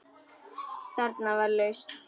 Þarna var lausn.